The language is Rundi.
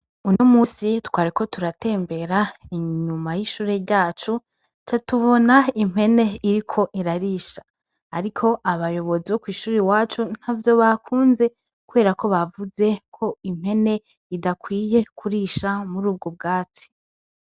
Uno munsi twariko turatembera inyuma y'ishure ryacu, catubona impene iri ko irarisha. Ariko abayobozi bo kw'ishure wacu ntavyo bakunze kubera ko bavuze ko impene idakwiye kurisha muri ubwo bwatsi.